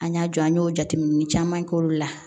An y'a jɔ an y'o jateminɛ caman k'olu la